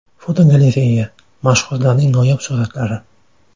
Fotogalereya: Mashhurlarning noyob suratlari.